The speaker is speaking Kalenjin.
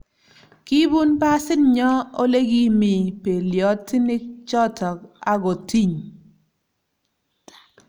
Kibun basit nyo olekimii beliotinik choto akotiny